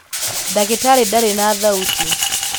ndagĩtarĩ ndarĩ na thauti.